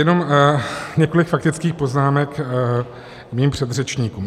Jenom několik faktických poznámek mým předřečníkům.